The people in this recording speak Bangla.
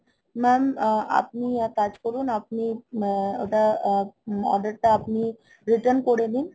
Mam আ~ আপনি এক কাজ করুন, আপনি আ~ এটা, order টা আপনি return করে দিন